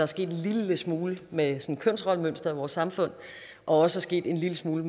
sket en lille smule med kønsrollemønsteret i vores samfund og også sket en lille smule